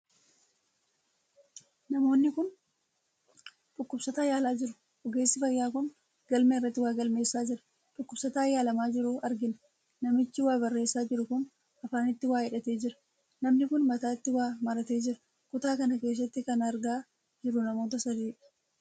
Namoonni kun dhukkubsataa yaalaa jiru. ogeesssi fayyaa kun galmeerratti waa galmeessaa jira. Dhukkubsataa yaalamaa jiru agina. Namichi waa Barreessaa jiru kun afaanitti waa hidhatee jira. Namni Kun mataatti waa maratee jira. kutaa kana keessatti kan argaa jiruu namoota sadiidha.